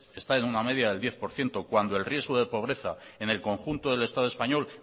está en una media del diez por ciento cuando el riesgo de pobreza en el conjunto del estado español